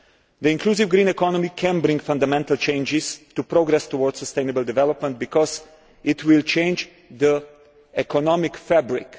The inclusive green economy can bring fundamental changes to progress towards sustainable development because it will change the economic fabric.